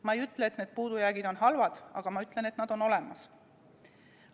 Ma ei ütle, et need puudujäägid on halvad, aga ma ütlen, et nad on olemas.